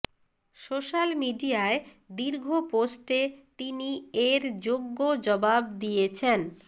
social মিডিয়ায় দীর্ঘ পোস্টে তিনি এর যোগ্য জবাব দিয়েছেন